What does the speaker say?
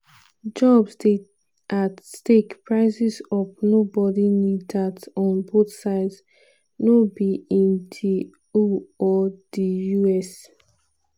jobs dey at stake prices up nobody need dat on both sides no be in di eu or di us."